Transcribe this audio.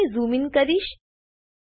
હું અહીં zoom in કરીશ